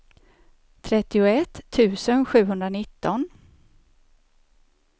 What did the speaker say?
trettioett tusen sjuhundranitton